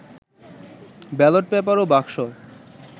ballot paper ও বাক্স